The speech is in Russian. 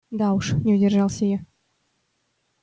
да уж не удержался я